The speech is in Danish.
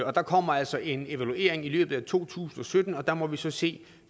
og der kommer altså en evaluering i løbet af to tusind og sytten og der må vi så se